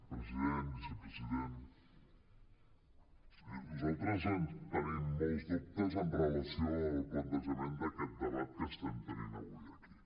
president vicepresident nosaltres tenim molts dubtes amb relació al plantejament d’aquest debat que estem tenint avui aquí